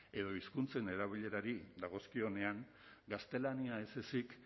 edo hizkuntzen erabilerari dagokionean gaztelania ez ezik